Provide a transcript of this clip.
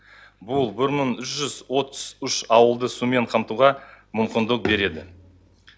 бұл бір мың жүз отыз үш ауылды сумен қамтуға мүмкіндік береді